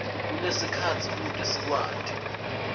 kusenesikhatsi kute sikwati